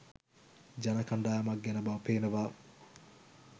ජන කණ්ඩායමක් ගැන බව පේනවා.